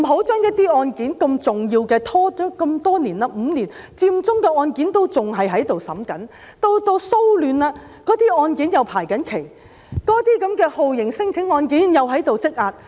不要把如此重要的案件拖延5年這麼久，佔中的案件仍然在審理中，騷亂案件又正在排期，那些酷刑聲請者案件又在積壓。